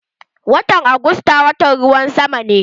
Watan augusta watan ruwan sama ne.